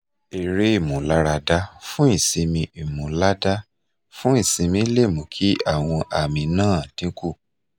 eré ìmúlaradà fún ìsinmi ìmúládá fún ìsinmi lè mú kí àwọn àmì náà dínkù